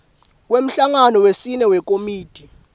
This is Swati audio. kwemhlangano wesine wekomiti